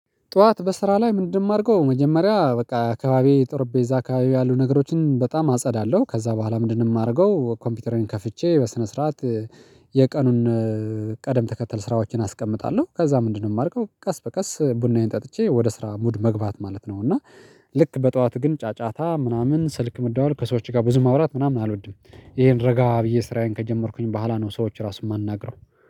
ጠዋት በስራ ላይ ምንድነው? የማደርገው መጀመሪያ በቃ አካባቢ ጠርጴዛ አካባቢ ያሉ ነገሮችን በጣም አጸዳለሁ። ከዛ በኋላ ምንድነው? የማደርገው ኮምፒውተሬን ከፍቼ በስነ ስርዓት የቀኑን ቅደም ተከተል ስራዎችን አስቀምጣለሁ። ከዛ ምንድነው? የማደርገው ቀስ በቀስ ቡናዬን ጠጥቼ ወደ ስራ ሙድ መግባት ማለት ነው። እና ልክ በጠዋት ግን ጫጫታ ምናምን ስልክ መደዋወል ከሰዎች ጋር ብዙ ማውራት ምናምን አልወድም። ይሄን ረጋ ብዬ ስራዬን ከጀመርኩኝ በኋላ ነው ሰዎች ራሱ የማናግረው።